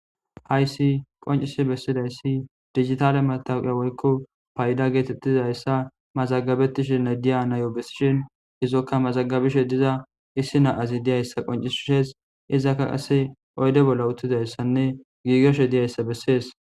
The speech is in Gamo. hayssi qoncise bessidayssi digitale mataqiya woykko payda geetettizayssa mazagabettishinne diya nayo bessishin izokka mazagabishe diza issi naazi diyayssa qoncisshees izakka qase oyde bolla uttizayssanne giigeshe diyayssa bessees